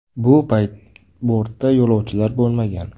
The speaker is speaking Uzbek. Bu payt bortda yo‘lovchilar bo‘lmagan.